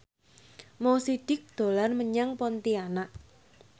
Mo Sidik dolan menyang Pontianak